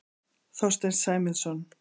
Þorsteinn Sæmundsson.